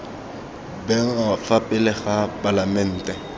bewa fa pele ga palamente